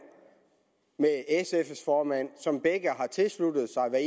med sfs formand som begge har tilsluttet sig hvad